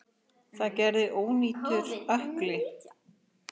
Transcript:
Það gerði ónýtur ökkli.